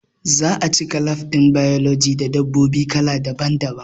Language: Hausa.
Za'a cika lab ɗin biology da dabbobi kala daban daban